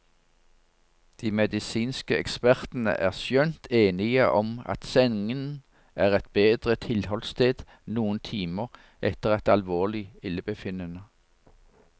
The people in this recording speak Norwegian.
De medisinske ekspertene er skjønt enige om at sengen er et bedre tilholdssted noen timer etter et alvorlig illebefinnende.